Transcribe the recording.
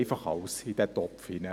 wenn wir etwas überprüfen.